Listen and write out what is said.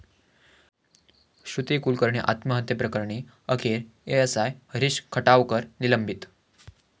श्रुती कुलकर्णी आत्महत्येप्रकरणी अखेर एएसआय हरीष खटावकर निलंबित